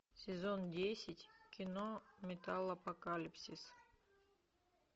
сезон десять кино металлопокалипсис